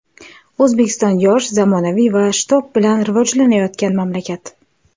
O‘zbekiston yosh, zamonaviy va shitob bilan rivojlanayotgan mamlakat.